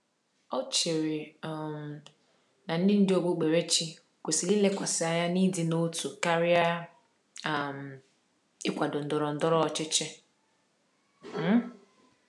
Ọ chere um na ndị ndú okpukperechi kwesịrị ilekwasị anya n’ịdị n’otu karịa um ịkwado ndọrọ ndọrọ ọchịchị. um